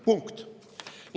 Punkt.